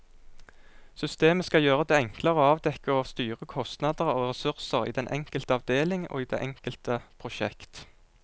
Systemet skal gjøre det enklere å avdekke og styre kostnader og ressurser i den enkelte avdeling og i det enkelte prosjekt.